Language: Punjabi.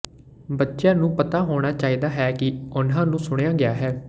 ਬੱਚਿਆਂ ਨੂੰ ਪਤਾ ਹੋਣਾ ਚਾਹੀਦਾ ਹੈ ਕਿ ਉਨ੍ਹਾਂ ਨੂੰ ਸੁਣਿਆ ਗਿਆ ਹੈ